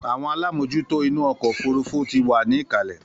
Àwọn alámòjútó inú ọkọ̀ òfurufú ti wà ní ìkàlẹ̀